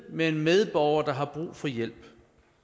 med en medborger der har brug for hjælp